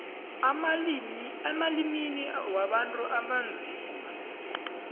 emalimini wabantu abanzima